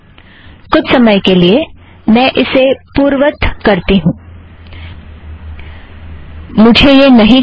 कुछ समय के लिए मैं इसे पूर्ववत करती हूँ मुझे यह नहीं चाहिए